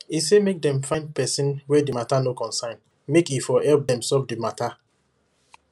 e say make dem find person wey the matter no concern make e for help dem solve the matter